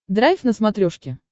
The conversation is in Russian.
драйв на смотрешке